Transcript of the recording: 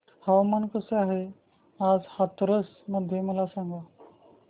हवामान कसे आहे आज हाथरस मध्ये मला सांगा